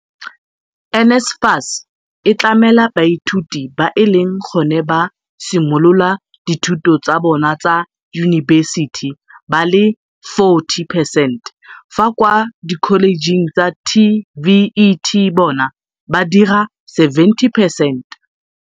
NSFAS e tlamela baithuti ba e leng gone ba simolola dithuto tsa bona tsa yunibesiti ba le 40 percent fa kwa dikholejeng tsa TVET bona ba dira 70 percent.